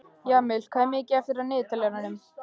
Jamil, hvað er mikið eftir af niðurteljaranum?